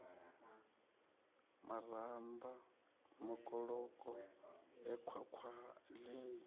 maramba makoloko e khwakhwa ii